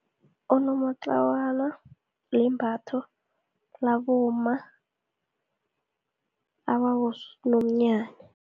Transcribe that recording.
Unomatlawana limbatho, labomma ababonomnyanya.